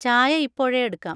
ചായ ഇപ്പോഴേ എടുക്കാം.